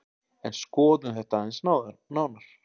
En skoðum þetta aðeins nánar.